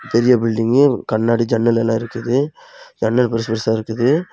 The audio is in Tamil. பெரிய பில்டிங் கண்ணாடி ஜன்னல் எல்லாம் இருக்குது ஜன்னல் பெருசு பெருசா இருக்குது.